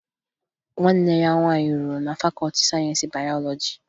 Nwanne ya nwaanyị rụrụ na fakọọti sayensi bayọlọji